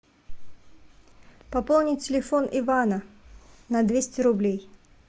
пополнить телефон ивана на двести рублей